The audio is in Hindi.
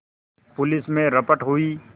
पुलिस में रपट हुई